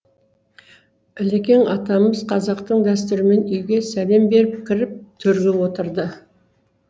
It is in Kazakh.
ілекең атамыз қазақтың дәстүрімен үйге сәлем беріп кіріп төрге отырды